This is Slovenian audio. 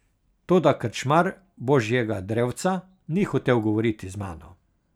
Toda krčmar Božjega drevca ni hotel govoriti z mano.